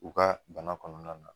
U ka bana kɔnɔna na